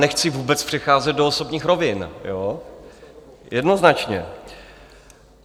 Nechci vůbec přecházet do osobních rovin, jednoznačně.